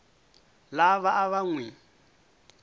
lava a va n wi